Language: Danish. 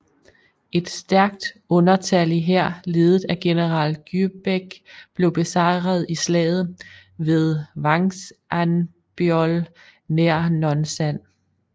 Et stærkt undertallig hær ledet af general Gyebaek blev besejret i slaget ved Hwangsanbeol nær Nonsan